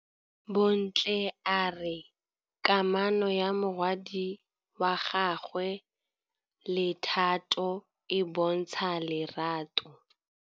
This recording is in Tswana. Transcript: Bontle a re kamanô ya morwadi wa gagwe le Thato e bontsha lerato.